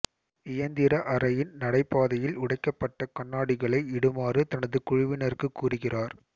இயந்திர அறையின் நடைபாதையில் உடைக்கப்பட்ட கண்ணாடிகளை இடுமாறு தனது குழுவினருக்குக் கூறுகிறார்